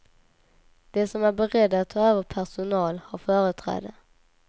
De som är beredda att ta över personal har företräde.